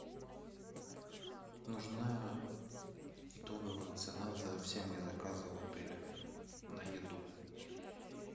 нужна итоговая цена за все мои заказы в отеле на еду